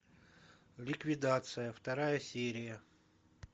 ликвидация вторая серия